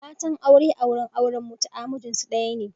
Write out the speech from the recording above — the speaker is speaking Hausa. Matan aure a wurin auren mutu’a mijinsu daya ne.